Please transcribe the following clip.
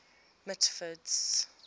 mitford's